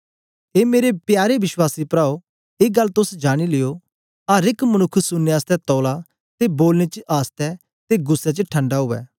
ए मेरे प्यारे विश्वासी प्राओ ए गल्ल तोस जानी लियो अर एक मनुक्ख सुननें आसतै तौला ते बोलने च आसता ते गुस्सै च ठंडा उवै